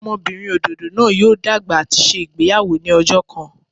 Ọmọbinrin ododo naa yoo dagba ati ṣe igbeyawo ni ọjọ kan.